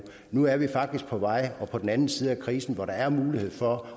nu er vi faktisk på vej og på den anden side af krisen hvor der er mulighed for